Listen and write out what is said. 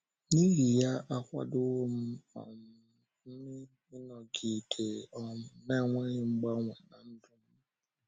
N’ihi ya, akwadowo um m ịnọgide um na - enweghị mgbanwe ná ndụ um m.